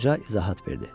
Qoca izahat verdi.